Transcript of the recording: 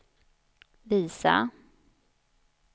visa